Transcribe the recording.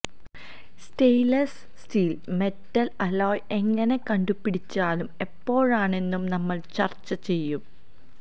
stainless steel metal alloy എങ്ങിനെ കണ്ടുപിടിച്ചാലും എപ്പോഴാണെന്നും നമ്മൾ ചർച്ചചെയ്യും